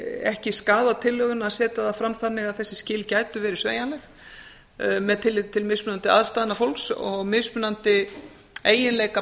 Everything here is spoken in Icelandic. ekki skaða tillöguna að setja það fram þannig að þessi skil gætu verið sveigjanleg með tilliti til mismunandi aðstæðna fólks og mismunandi eiginleika